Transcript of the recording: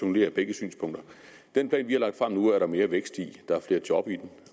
med begge synspunkter den plan vi har lagt frem nu er der mere vækst i der er flere job i den